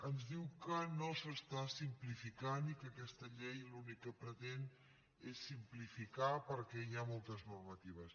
ens diu que no s’està simplificant i que aquesta llei l’únic que pretén és simplificar perquè hi ha moltes normatives